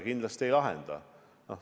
Kindlasti ta seda ei lahenda.